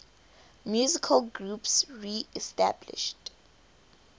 musical groups reestablished